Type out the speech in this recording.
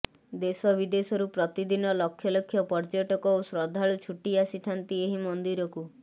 ଦେଶ ବିଦେଶରୁ ପ୍ରତିଦିନ ଲକ୍ଷ ଲକ୍ଷ ପର୍ଯ୍ୟଟକ ଓ ଶ୍ରଦ୍ଧାଳୁ ଛୁଟି ଆସିଥାନ୍ତି ଏହି ମନ୍ଦିରକୁ